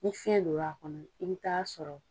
Ni fiyɛn don l'a kɔnɔ i bɛ taa sɔrɔ